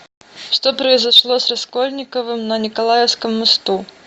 что произошло с раскольниковым на николаевском мосту